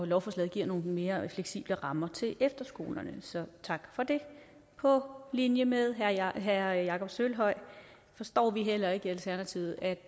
lovforslaget giver nogle mere fleksible rammer til efterskolerne så tak for det på linje med herre jakob sølvhøj forstår vi heller ikke i alternativet at